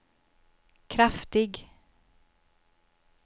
kraftig